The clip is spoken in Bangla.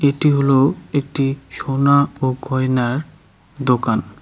এটি হল একটি সোনা ও গয়নার দোকান।